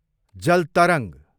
जल तरङ्ग